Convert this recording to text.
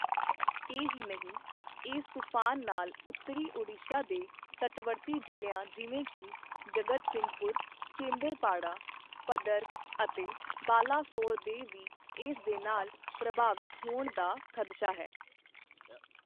ਇਹ ਹੀ ਨਹੀਂ, ਇਸ ਤੂਫਾਨ ਨਾਲ ਉੱਤਰੀ ਓਡੀਸ਼ਾ ਦੇ ਤਟਵਰਤੀ ਜ਼ਿਲ੍ਹਿਆਂ ਜਿਵੇਂ ਕਿ ਜਗਤਸਿੰਘਪੁਰ, ਕੇਂਦਰਪਾੜਾ, ਭਦਰਕ ਅਤੇ ਬਾਲਾਸੋਰ ਦੇ ਵੀ ਇਸ ਦੇ ਨਾਲ ਪ੍ਰਭਾਵਿਤ ਹੋਣ ਦਾ ਖਦਸ਼ਾ ਹੈ।